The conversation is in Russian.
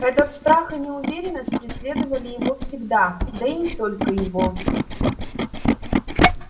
этот страх и неуверенность преследовали его всегда да и не только его